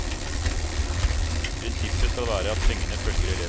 Prinsippet skal være at pengene følger eleven.